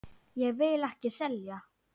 Ég vil ekki selja.